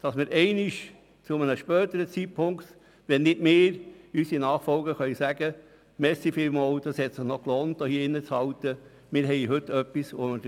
Denn wenn nicht wir, so werden unsere Nachfolger womöglich dankbar sein, weil es sich gelohnt hat, an diesem Punkt des Projekts innezuhalten.